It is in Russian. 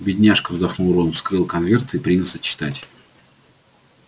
бедняжка вздохнул рон вскрыл конверт и принялся читать